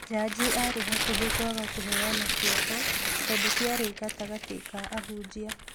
Jaji arĩ hakuhĩ kwaga kũheana kĩoho tondu kĩarĩ gatagati ka ahunjia